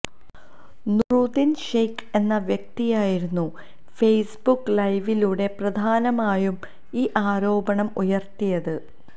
നൂറുദ്ദീന് ഷെയ്ക്ക് എന്ന വ്യക്തിയായിരുന്നു ഫെയ്സ്ബുക്ക് ലൈവിലൂടെ പ്രധാനമായും ഈ ആരോപണം ഉയര്ത്തിയത്